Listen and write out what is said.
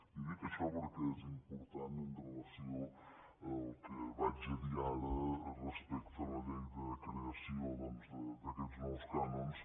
i dic això perquè és important amb relació al que diré ara respecte a la llei de creació doncs d’aquests nous cànons